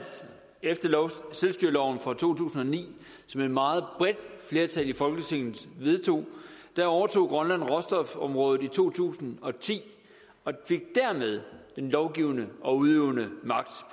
efter selvstyreloven fra to tusind og ni som et meget bredt flertal i folketinget vedtog overtog grønland råstofområdet i to tusind og ti og fik dermed den lovgivende og udøvende magt